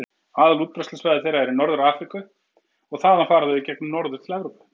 Aðalútbreiðslusvæði þeirra er í Norður-Afríku og þaðan fara þau í göngum norður til Evrópu.